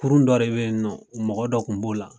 Kurun dɔ de be yen nɔ mɔgɔ dɔ kun b'o la